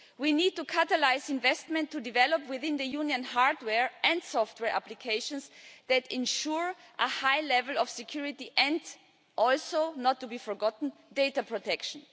We need to catalyse investment to develop within the Union hardware and software applications that ensure a high level of security and also, not to be forgotten, data protection.